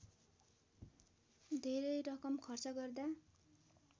धेरै रकम खर्च गर्दा